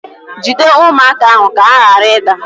Jide ụmụaka ahụ ka ha ghara ịda